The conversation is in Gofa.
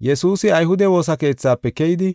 Yesuusi ayhude woosa keethafe keyidi,